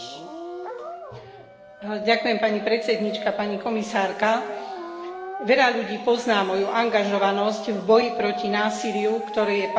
Ďakujem pani podpredsedníčka, pani komisárka, veľa ľudí pozná moju angažovanosť v boji proti násiliu, ktoré je páchané na ženách a deťoch.